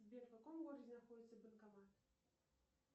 сбер в каком городе находится банкомат